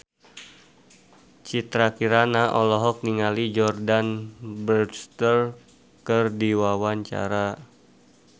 Citra Kirana olohok ningali Jordana Brewster keur diwawancara